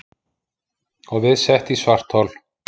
Og við sett í svarthol.